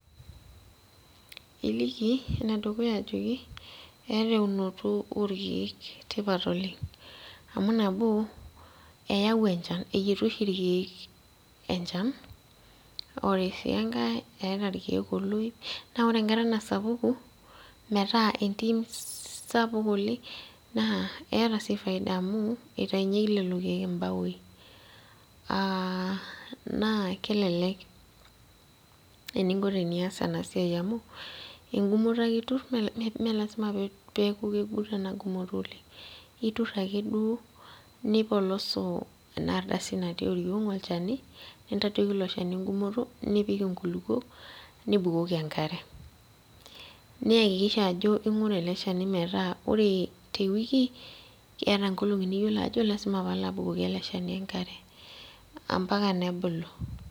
Iliki enedukuya ajoki eeta eunoto orkeek tipat oleng' amu nabo eyau enchan eyietu oshi irkeek enchan ore sii enkae eeta irkeek oloip naa ore enkata nasapuku metaa entim sapuk oleng' naa keeta sii faida amu eitainyieki lelo keek imbaoi uh naa kelelek eninko teniyas ena siai amu engumoto ake iturr mee melasima peeku kegut ena gumoto oleng' iturr akeduo nipolosu ena ardasi natii oriong' olchani nintadoiki ilo shani engumoto nipik inkulupuok nibukoki enkare niyakikisha ajo ing'ura ele shani metaa ore tewiki keeta nkolong'i niyiolo ajo lasima paalo abukoki ele shani enkare ampaka nebulu.